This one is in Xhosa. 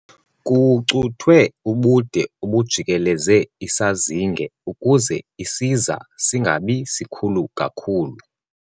Kucuthwe ubude obujikeleze isazinge ukuze isiza singabi sikhulu kakhulu.